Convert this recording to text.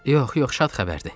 Yox, yox, şad xəbərdir.